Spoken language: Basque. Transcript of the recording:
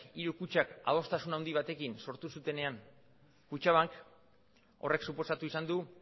hiru kutxak adostasun handi batekin sortu zutenean kutxabank horrek suposatu izan du